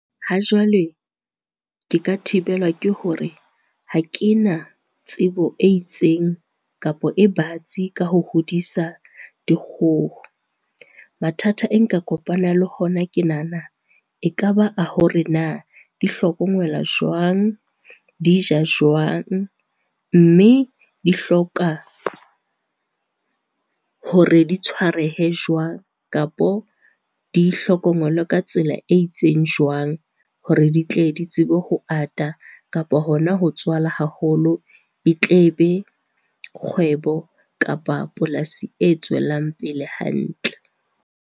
Ha jwale, ke ka thibelwa ke hore ha ke na tsebo e itseng kapa e batsi ka ho hodisa dikgoho. Mathata e nka kopana le hona ke nahana e ka ba a hore na di hlokomela jwang, di ja jwang, mme di hloka, hore di tshwarehe jwang kapo di hlokongelwe ka tsela e itseng jwang hore di tle di tsebe ho ata kapo hona ho tswala haholo, di tle be kgwebo kapa polasi e tswelang pele hantle.